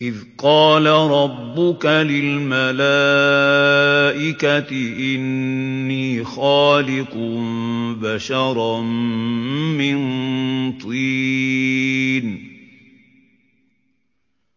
إِذْ قَالَ رَبُّكَ لِلْمَلَائِكَةِ إِنِّي خَالِقٌ بَشَرًا مِّن طِينٍ